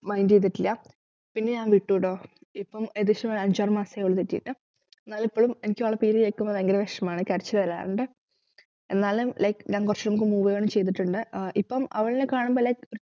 mind ചെയ്തിട്ടില്ല പിന്നെഞാൻ വിട്ടുടോ ഇപ്പം ഏകദേശം അഞ്ചാറുമാസമായി ഓള് തെറ്റിയിട്ട് ന്നല് ഇപ്പോളും എനിക്കവളെ പേര് കേക്കുമ്പോ ഭയങ്കര വിഷമാണ് കരച്ചിലുവരാറുണ്ട് എന്നാലും like ഞാൻ കൊറച്ചും move on ചെയ്തിട്ടുണ്ട് ഏർ ഇപ്പം അവളെക്കാണുമ്പോ like